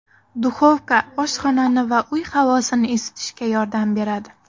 Duxovka oshxonani va uy havosini isitishga yordam beradi.